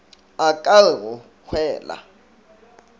a ka re go hwela